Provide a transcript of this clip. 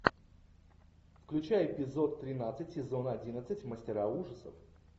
включай эпизод тринадцать сезона одиннадцать мастера ужасов